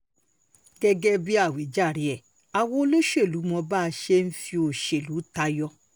gẹ́gẹ́ bíi àwíjàre ẹ̀ àwa olóṣèlú mọ bá a ṣe máa ń fi òṣèlú tayọ